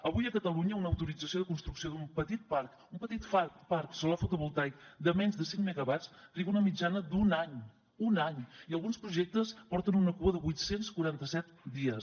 avui a catalunya una autorització de construcció d’un petit parc solar fotovoltaic de menys de cinc megawatts triga una mitjana d’un any un any i alguns projectes porten una cua de vuit cents i quaranta set dies